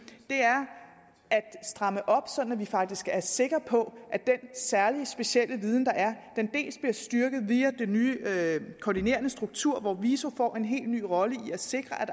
er stramme op sådan at vi faktisk er sikre på at den særlige og specielle viden der er bliver styrket via den nye koordinerende struktur hvor viso får en helt ny rolle i at sikre at